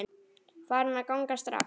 Farin að ganga strax!